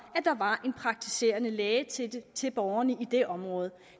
at der var en praktiserende læge til borgerne i det område